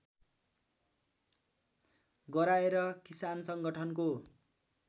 गराएर किसान संगठनको